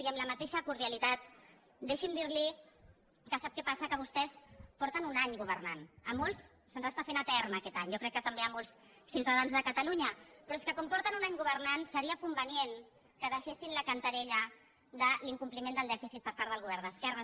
i amb la mateixa cordialitat deixi’m dir li que sap què passa que vostès fa un any que governen a molts se’ns està fent etern aquest any i jo crec que també a molts ciutadans de catalunya però és que com fa un any que governen seria convenient que deixessin la cantarella de l’incompliment del dèficit per part del govern d’esquerres